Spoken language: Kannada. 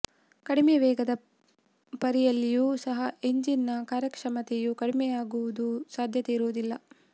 ಕಡಿಮೆ ವೇಗದ ಪರಿಯಲ್ಲಿಯೂ ಸಹ ಎಂಜಿನ್ ನ ಕಾರ್ಯಕ್ಷಮತೆಯು ಕಡಿಮೆಯಾಗುವ ಸಾಧ್ಯತೆ ಇರುವುದಿಲ್ಲ